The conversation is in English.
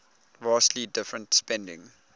vastly different spending